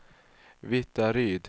Vittaryd